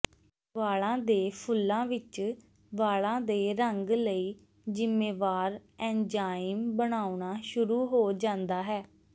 ਵਾਲਾਂ ਦੇ ਫੁੱਲਾਂ ਵਿੱਚ ਵਾਲਾਂ ਦੇ ਰੰਗ ਲਈ ਜ਼ਿੰਮੇਵਾਰ ਐਂਜ਼ਾਈਮ ਬਣਾਉਣਾ ਸ਼ੁਰੂ ਹੋ ਜਾਂਦਾ ਹੈ